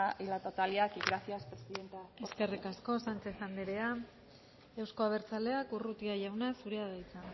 y la totalidad y gracias presidenta eskerrik asko sánchez andrea euzko abertzaleak urrutia jauna zurea da hitza